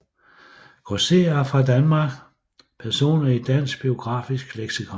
Grosserere fra Danmark Personer i Dansk Biografisk Leksikon